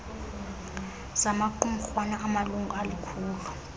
zamaqumrhwana anamalungu alikhulu